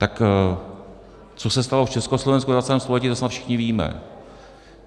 Tak co se stalo v Československu ve 20. století, to snad všichni víme.